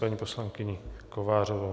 Paní poslankyně Kovářová.